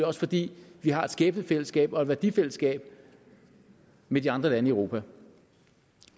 også fordi vi har et skæbnefællesskab og et værdifællesskab med de andre lande i europa